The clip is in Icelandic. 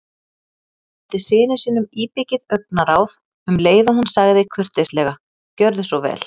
Hún sendi syni sínum íbyggið augnaráð um leið og hún sagði kurteislega: Gjörðu svo vel